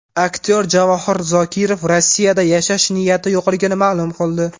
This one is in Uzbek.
Aktyor Javohir Zokirov Rossiyada yashash niyati yo‘qligini ma’lum qildi.